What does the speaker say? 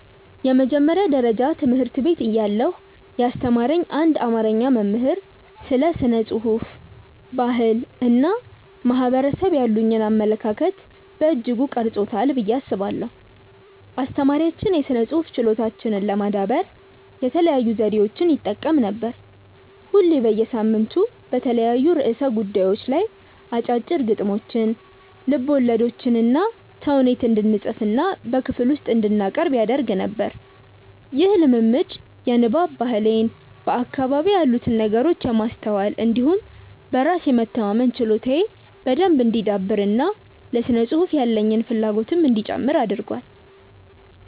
የመጀመሪያ ደረጃ ትምህርት ቤት እያለሁ ያስተማረኝ አንድ አማርኛ መምህር ስለ ስነ ጽሁፍ፣ ባህል እና ማህበረሰብ ያሉኝን አመለካከት በእጅጉ ቀርጾታል ብዬ አስባለሁ። አስተማሪያችን የስነ ጽሁፍ ችሎታችንን ለማዳበር የተለያዩ ዘዴዎችን ይጠቀም ነበር። ሁሌ በየሳምንቱ በተለያዩ ርዕሰ ጉዳዮች ላይ አጫጭር ግጥሞችን፣ ልቦለዶችንና ተውኔት እንድንፅፍና በክፍል ውስጥ እንድናቀርብ ያደርግ ነበር። ይህ ልምምድ የንባብ ባህሌን፣ በአካባቢዬ ያሉትን ነገሮች የማስተዋል እንዲሁም በራስ የመተማመን ችሎታዬን በደንብ እንዳዳብር እና ለስነ ጽሁፍ ያለኝን ፍላጎትም እንዲጨምር አድርጓል።